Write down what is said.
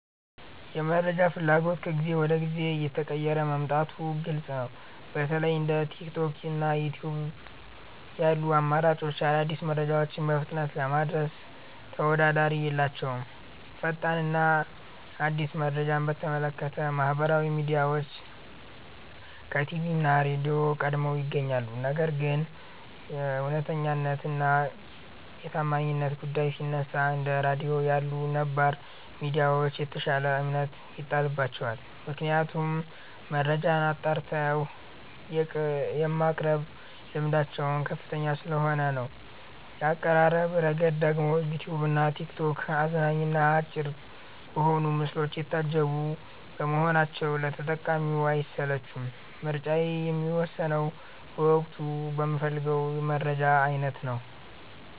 የመረጃ ፍላጎት ከጊዜ ወደ ጊዜ እየተቀየረ መምጣቱ ግልጽ ነው። በተለይ እንደ ቲክቶክ እና ዩትዩብ ያሉ አማራጮች አዳዲስ መረጃዎችን በፍጥነት ለማድረስ ተወዳዳሪ የላቸውም። ፈጣን እና አዲስ መረጃን በተመለከተ ማህበራዊ ሚዲያዎች ከቲቪ እና ራድዮ ቀድመው ይገኛሉ። ነገር ግን የእውነተኛነት እና የታማኝነት ጉዳይ ሲነሳ፣ እንደ ራድዮ ያሉ ነባር ሚዲያዎች የተሻለ እምነት ይጣልባቸዋል። ምክንያቱም መረጃን አጣርተው የማቅረብ ልምዳቸው ከፍተኛ ስለሆነ ነው። በአቀራረብ ረገድ ደግሞ ዩትዩብ እና ቲክቶክ አዝናኝ እና አጭር በሆኑ ምስሎች የታጀቡ በመሆናቸው ለተጠቃሚው አይሰለቹም። ምርጫዬ የሚወሰነው በወቅቱ በምፈልገው የመረጃ አይነት ነው።